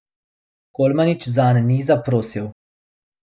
Kolmanič zanj ni zaprosil.